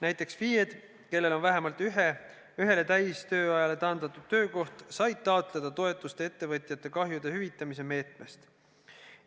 Näiteks FIE-d, kellel on vähemalt ühele täistööajale taandatud töökoht, said taotleda toetust ettevõtjate kahjude hüvitamise meetmest.